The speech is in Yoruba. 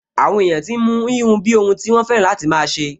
Àwọn èèyàn tí n mú híhun bíi ohun tí wọ́n fẹ́ràn láti máa ṣe